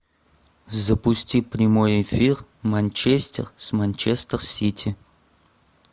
запусти прямой эфир манчестер с манчестер сити